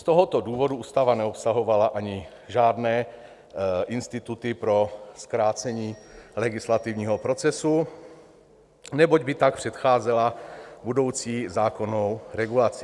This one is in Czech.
Z tohoto důvodu ústava neobsahovala ani žádné instituty pro zkrácení legislativního procesu, neboť by tak předcházela budoucí zákonnou regulaci.